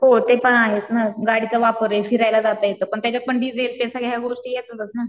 हो ते पण आहेच ना गाडीचा वापर फिरायला जात येत पण त्याच्यात पण डीजेल ते ह्या सगळ्या गोष्टी येतातच ना.